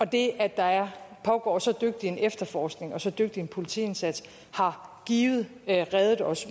det at der pågår så dygtig en efterforskning og så dygtig en politiindsats givet har reddet os